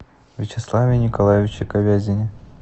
вячеславе николаевиче ковязине